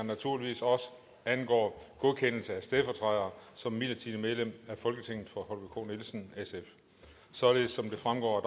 naturligvis også angår godkendelse af stedfortræder som midlertidigt medlem af folketinget for holger k nielsen således som det fremgår af